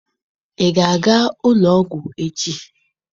Ị ga-aga ụlọ ọgwụ echi?